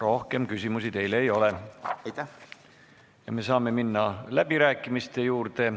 Rohkem küsimusi teile ei ole ja me saame minna läbirääkimiste juurde.